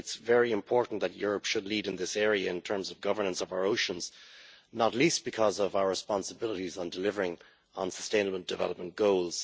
I think it is very important that Europe should lead in this area, in terms of governance of our oceans, not least because of our responsibilities in delivering on sustainable development goals.